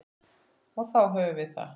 Og þá höfum við það.